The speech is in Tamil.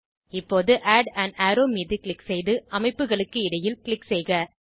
இப்போது ஆட் ஆன் அரோவ் மீது க்ளிக் செய்து அமைப்புகளுக்கு இடையில் க்ளிக் செய்க